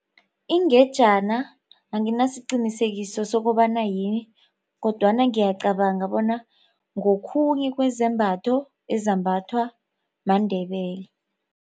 Ingejana anginasiqinisekiso sokobana yini kodwana ngiyacabanga bona ngokhunye kwezambatho ezembathwa maNdebele.